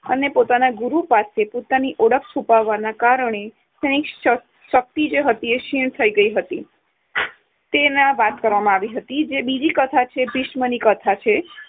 અને પોતાના ગુરુ પાસે ઓળખ છુપાવવાના કારણે તેની શ~ શક્તિ ક્ષીણ થઈ ગઈ હતી. તેની વાત કરવામાં આવી હતી. જે બીજી કથા છે ભીષ્મની કથા છે